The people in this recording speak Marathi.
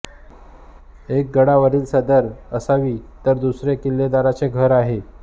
एक गडावरील सदर असावी तर दुसरे किल्लेदाराचे घर आहे